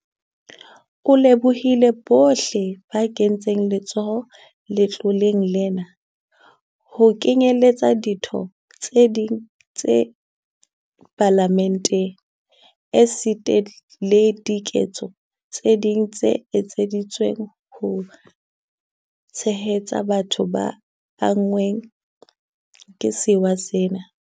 O lebohile bohle ba kentseng letsoho letloleng lena, ho kenyeletswa ditho tse ding tsa Palamente, esita le diketso tse ding tse etseditsweng ho tshehetsa batho ba anngweng ke sewa sena.